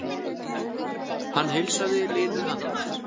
Hann heilsaði linu handtaki.